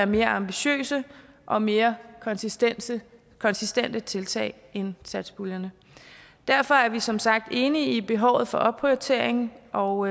mere ambitiøse og mere konsistente konsistente tiltag end satspuljerne derfor er vi som sagt enige i behovet for opprioritering og